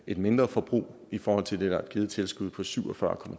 et mindre forbrug i forhold til det der er givet i tilskud på syv og fyrre